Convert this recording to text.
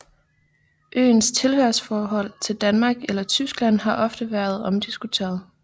Øens tilhørsforhold til Danmark eller Tyskland har ofte været omdiskuteret